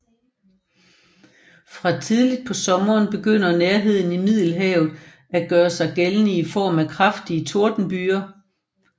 Fra tidligt på sommeren begynder nærheden til Middelhavet at gøre sig gældende i form af kraftige tordenbyger